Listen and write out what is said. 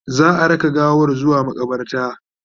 za'a raka gawan zuwa maƙabarta